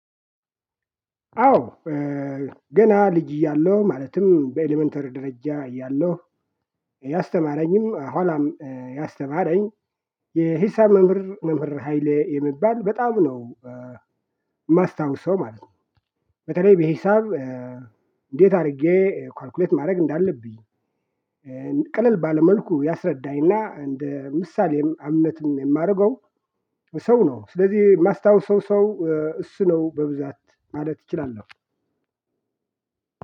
አዎ። ገና ልጅ እያለሁ ማለትም በኤለመንተሪ ደረጃ እያለሁ ያስተማረኝም ኋላም ያስተማረኝ የሂሳብ መምህር መምህር ሃይሌ የሚባል በጣም ነው የማስታውሰው ማለት ነው። በተለይ በሂሳብ እንዴት አድርጌ ኳልኩሌት ማድረግ እንዳለብኝ። ቀለል ባለ መልኩ ያስረዳኝና እንደ ምሳሌም አምነትም የማደርገው ሰው ነው ስለዚህ የማስታውሰው ሰው እሱ ነው በብዛት ማለት እችላለሁ።